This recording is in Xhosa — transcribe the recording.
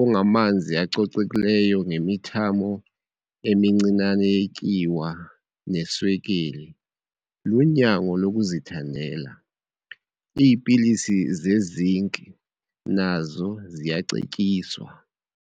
ongamanzi acocekileyo ngemithamo emincinane yetyiwa neswekile, lunyango lokuzithandela. Iipilisi ze-Zinc nazo ziyacetyiswa.